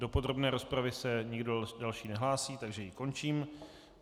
Do podrobné rozpravy se nikdo další nehlásí, takže ji končím.